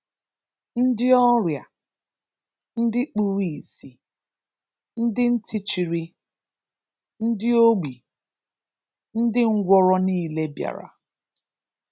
Ndị ọrịa, ndị kpuru ìsì, ndị ntị chiri, ndị ogbi, ndị ngwọrọ niile bịara.